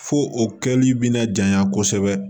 Fo o kɛli bɛna janya kosɛbɛ